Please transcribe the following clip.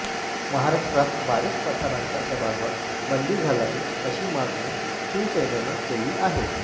महाराष्ट्रात वारिस पठाणांच्या सभांवर बंदी घालावी अशी मागणी शिवसेनेनं केली आहे